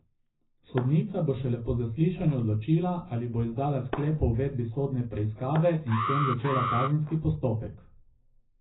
Sodnica bo šele po zaslišanju odločila, ali bo izdala sklep o uvedbi sodne preiskave in s tem začela kazenski postopek.